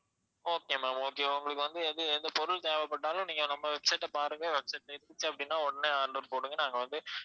okay ma'am okay உங்களுக்கு எது எந்த பொருள் தேவைப்பட்டாலும் நீங்க நம்ம website அ பாருங்க website ல இருந்துச்சு அப்படின்னா உடனே order போடுங்க நாங்க வந்து